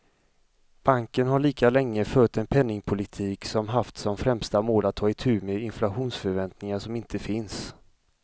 Banken har lika länge fört en penningpolitik som haft som främsta mål att ta itu med inflationsförväntningar som inte finns.